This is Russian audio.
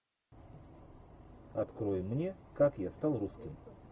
открой мне как я стал русским